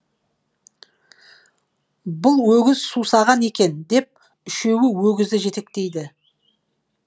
бұл өгіз сусаған екен деп үшеуі өгізді жетектейді